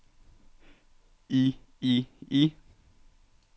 i i i